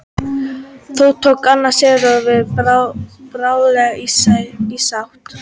þó tók hann sighvat bráðlega í sátt